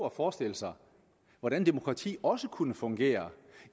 at forestille sig hvordan demokrati også kunne fungere